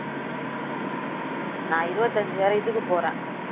நான் இருபத்தி அஞ்சு வேற இதுக்கு போறேன்